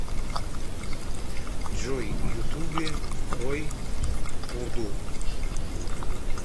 джой ютубе рой пурду